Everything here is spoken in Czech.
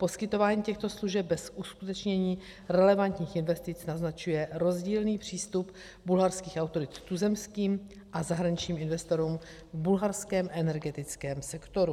Poskytování těchto služeb bez uskutečnění relevantních investic naznačuje rozdílný přístup bulharských autorit k tuzemským a zahraničním investorům v bulharském energetickém sektoru.